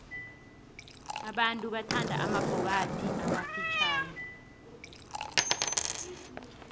abantu bathanda amabhokathi amafitjhani